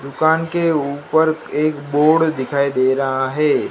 दुकान के ऊपर एक बोर्ड दिखाई दे रहा है।